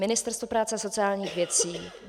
Ministerstvo práce a sociálních věcí.